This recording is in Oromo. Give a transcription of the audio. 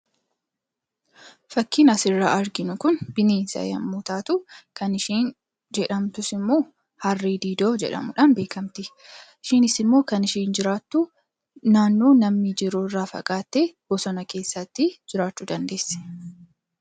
Fakkiin asirraa arginu kun bineensa yommuu taatu, kan isheen jedhamtus immoo harre-didoo jedhamuudhaan beekamti. Isheenis immoo kan isheen jiraattu, naannoo namni jiru irraa fagaattee bosona keessatti jiraachuu dandeessi.